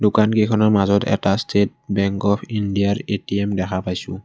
দোকানকেইখনৰ মাজত এটা ষ্টেট বেংক অফ ইণ্ডিয়াৰ এ_টি_এম দেখা পাইছোঁ।